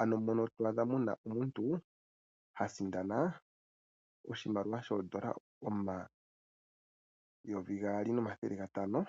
Ano mpono to adha omuntu asindana oshimali shoondola omayovi gaali nomathele gatano.